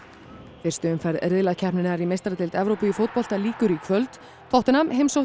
fyrstu umferð riðlakeppninnar í meistaradeild Evrópu í fótbolta lýkur í kvöld tottenham heimsótti